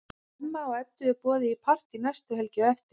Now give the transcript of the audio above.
Hemma og Eddu er boðið í partí næstu helgi á eftir.